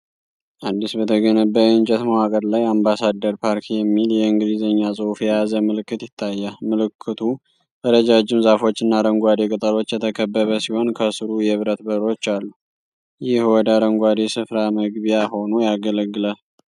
አዲስ በተገነባ የእንጨት መዋቅር ላይ 'አምባሳደር ፓርክ' የሚል የእንግሊዝኛ ጽሑፍ የያዘ ምልክት ይታያል። ምልክቱ በረጃጅም ዛፎችና አረንጓዴ ቅጠሎች የተከበበ ሲሆን ከሥሩ የብረት በሮች አሉ። ይህ ወደ አረንጓዴ ስፍራ መግቢያ ሆኖ ያገለግላል።